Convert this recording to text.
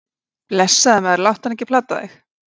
Blessaður, maður, láttu hana ekki plata þig.